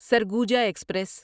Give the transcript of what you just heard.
Surguja express